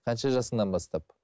қанша жасыңнан бастап